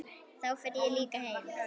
Þá fer ég líka heim